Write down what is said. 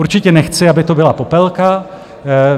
Určitě nechci, aby to byla popelka.